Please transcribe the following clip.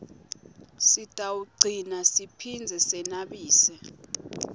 sitawugcina siphindze senabise